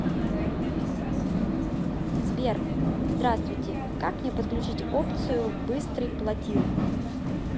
сбер здравствуйте как мне подключить опцию быстрый платил